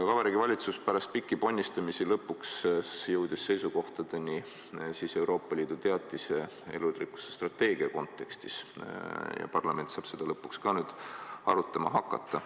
Vabariigi Valitsus jõudis pärast pikki ponnistusi lõpuks seisukohtadele Euroopa Liidu elurikkuse strateegia teatise kontekstis ja parlament saab seda nüüd arutama hakata.